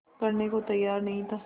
करने को तैयार नहीं था